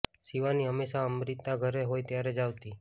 શિવાની હમેંશા અમ્રિતા ઘરે હોય ત્યારે જ આવતી